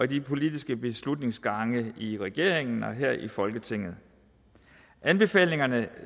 de politiske beslutningsgange i regeringen og her i folketinget anbefalinger